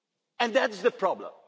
it. And that is the problem.